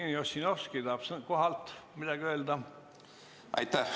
Jevgeni Ossinovski tahab kohalt midagi öelda.